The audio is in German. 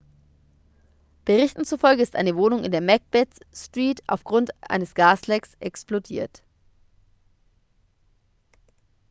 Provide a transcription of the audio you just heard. berichten zufolge ist eine wohnung in der macbeth street aufgrund eines gaslecks explodiert